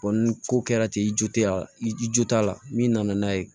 ni ko kɛra ten i jo t'a i jo t'a la min nana n'a ye